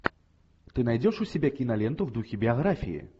ты найдешь у себя киноленту в духе биографии